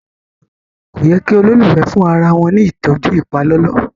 kọ yé kí ololufẹ fún arawọn ní ìtọjú ipalọlọ